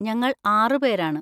ഞങ്ങൾ ആറുപേരാണ്.